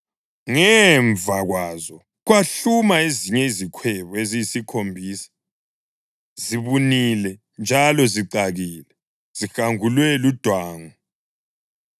Ngemva kwazo, kwahluma ezinye izikhwebu eziyisikhombisa, zibunile njalo zicakile, zihangulwe ludwangu.